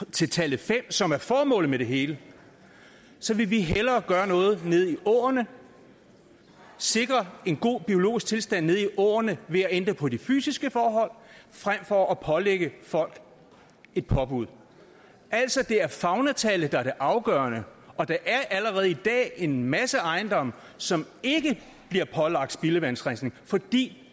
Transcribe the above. til tallet fem som er formålet med det hele vil vi hellere gøre noget nede i åerne sikre en god biologisk tilstand nede i åerne ved at ændre på de fysiske forhold frem for at pålægge folk et påbud altså det er faunatallet der er det afgørende og der er allerede i dag en masse ejendomme som ikke bliver pålagt spildevandsrensning fordi